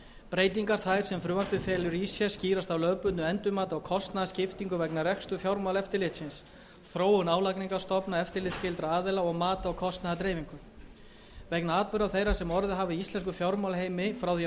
breytingar þær sem frumvarpið felur í sér skýrast af lögbundnu endurmati á kostnaðarskiptingu vegna reksturs fjármálaeftirlitsins þróun álagningarstofna eftirlitsskyldra aðila og mati á kostnaðardreifingu vegna atburða þeirra sem orðið hafa í íslenskum fjármálaheimi frá því að frumvarp